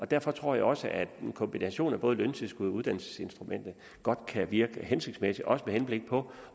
derfor tror jeg også at en kombination af både løntilskud og uddannelsesinstrumentet godt kan virke hensigtsmæssigt også med henblik på